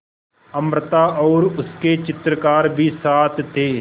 अमृता और उसके चित्रकार भी साथ थे